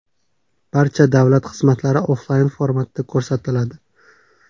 Barcha davlat xizmatlari onlayn-formatda ko‘rsatiladi.